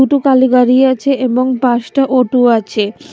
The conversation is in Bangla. কালি গাড়ি আছে এবং পাঁচটা অটু আছে ।